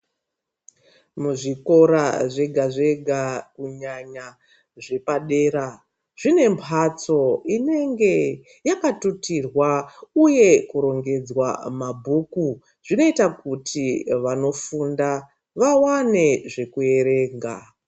Muzvikora zvega zvega kunyanya zvepadera zvine mbatso yakatutirqa uye kurongedzwa mabhuku zvinoita kuti vanofunda vawane zvekuverenga